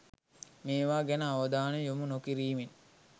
මේවා ගැන අවධානය යොමු නොකිරීමෙන්